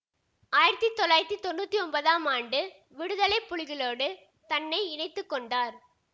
ஆயிரத்தி தொள்ளாயிரத்தி தொன்னூத்தி ஒன்பதாம் ஆண்டு விடுதலை புலிகளோடு தன்னை இணைத்து கொண்டார்